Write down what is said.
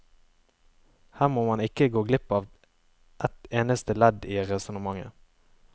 Her må man ikke gå glipp at et eneste ledd i resonnementet.